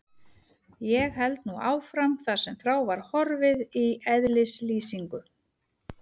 Ég held nú áfram þar sem frá var horfið í eðlislýsingu